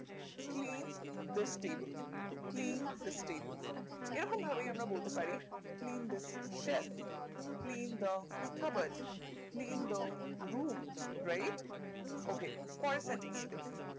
clean this table clean this table এই রকম ভাবেই আমরা বলতে পারি clean this self clean the kabard clean the room right ok পরের centan টা দেখি